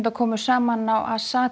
komu saman á